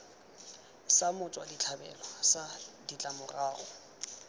sa motswa setlhabelo sa ditlamorago